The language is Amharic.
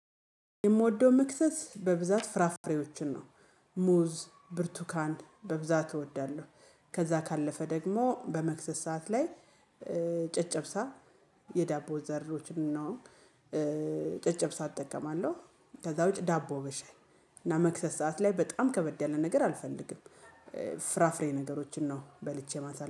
የምወደው መክሰስ በብዛት ፍራፍሬዎችን ነው። ሙዝ ብርቱካን በብዛት እወዳለሁ። ከዛ ካለፈ ደግሞ በመክሰስ ሰዓት ላይ ጨጨብሳ የዳቦ ዘሮችን ነው። ጨጨብሳ እጠቀማለው። ከዛ ውጪ ዳቦ በሻይ እና መክሰስ ሰዓት ላይ በጣም ከበድ ያለ ነገር አልፈልግም። ፍራፍሬ ነገሮችን ነው በልቼ ማሳ